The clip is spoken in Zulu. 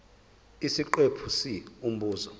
isiqephu c umbuzo